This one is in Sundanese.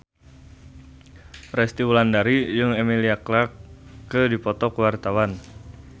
Resty Wulandari jeung Emilia Clarke keur dipoto ku wartawan